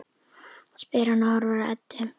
spyr hann og horfir á Eddu.